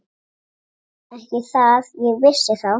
Ekki það ég vissi þá.